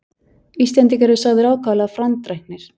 Íslendingar eru sagðir ákaflega frændræknir.